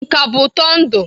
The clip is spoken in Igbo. Nka bụ ụtọ ndụ.